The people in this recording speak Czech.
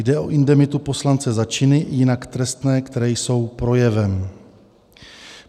Jde o indemitu poslance za činy jinak trestné, které jsou projevem.